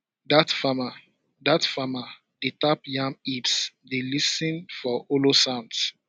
dat farmer dat farmer dey tap yam heaps dey lis ten for hollow sounds